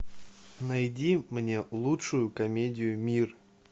найди мне лучшую комедию мир